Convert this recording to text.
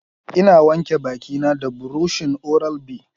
Ina wanke baki na da buroshin oral B